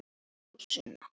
En sumar gera það.